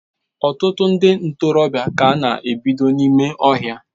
Ọtụtụ ndị ntorobịa ka a na-ebido n'ime ọhịa